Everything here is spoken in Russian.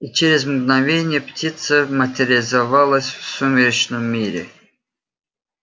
и через мгновение птица материализовалась в сумеречном мире